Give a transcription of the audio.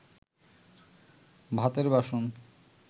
ভাতের বাসন